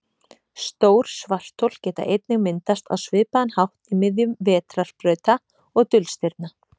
Stór svarthol geta einnig myndast á svipaðan hátt í miðjum vetrarbrauta og dulstirna.